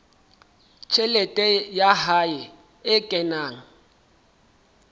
tjhelete ya hae e kenang